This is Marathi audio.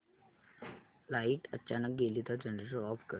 लाइट अचानक गेली तर जनरेटर ऑफ कर